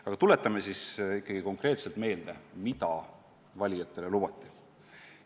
Aga tuletame konkreetselt meelde, mida valijatele lubati.